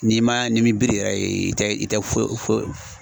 N'i man n'i m'i biri yɛrɛ ye i tɛ i tɛ fo fo